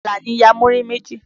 Àlàní ya múrí méjì.